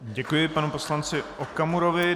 Děkuji panu poslanci Okamurovi.